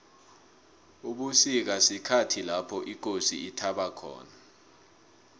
ubusika sikhathi lapho ikosi ithaba khona